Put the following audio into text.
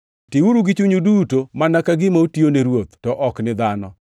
Tiuru gi chunyu duto, mana ka gima utiyo ni Ruoth, to ok ni dhano,